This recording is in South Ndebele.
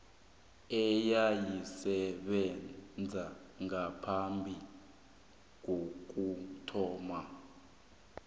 eyayisebenza ngaphambi kokuthoma